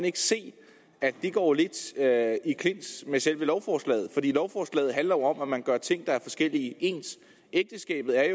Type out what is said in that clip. ikke se at det går lidt i clinch med selve lovforslaget for lovforslaget handler jo om at man gør ting der er forskellige ens ægteskabet er